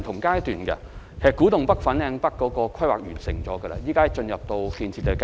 古洞北、粉嶺北的規劃已經完成，正在進入建設階段。